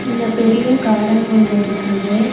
இங்க பெரிய கார்டன் ஒன்னு இருக்குது.